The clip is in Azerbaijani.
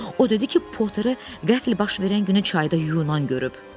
O dedi ki, Potteri qətl baş verən günü çayda yuyunan görüb.